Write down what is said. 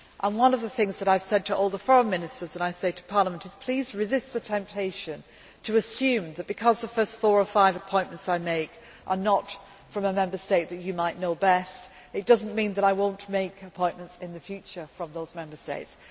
me time to do it. One of the things that I have said to all the foreign ministers and I say to Parliament is please resist the temptation to assume that, because the first four or five appointments I make are not from a Member State that you might know best, it does not mean that I will not make appointments in the future from those